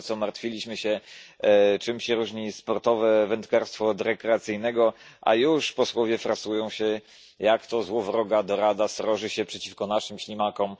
Dopiero co martwiliśmy się, czym się różni sportowe wędkarstwo od rekreacyjnego, a już posłowie frasują się, jak to złowroga dorada sroży się przeciwko naszym ślimakom.